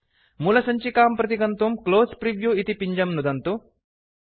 मूलसञ्चिकां प्रति गन्तुं close preview इति पिञ्जं नुदन्तु